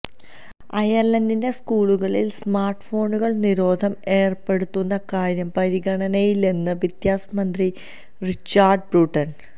അയർലന്റിലെ സ്കൂളുകളിൽ സ്മാർട്ട്ഫോണുകൾക്ക് നിരോധനം ഏർപ്പെടുത്തുന്ന കാര്യം പരിഗണനയിലെന്ന് വിദ്യാഭ്യാസമന്ത്രി റിച്ചാർഡ് ബ്രൂട്ടൺ